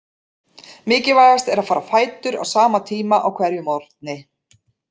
Mikilvægast er að fara á fætur á sama tíma á hverjum morgni.